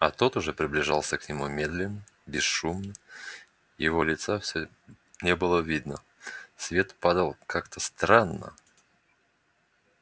а тот уже приближался к нему медленно бесшумно и его лица все не было видно свет падал как-то странно